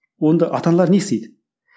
онда ата аналар не істейді